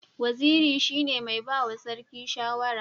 Waziri shine mai bawa sarki shawara